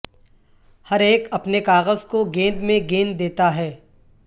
ہر ایک اپنے کاغذ کو گیند میں گیند دیتا ہے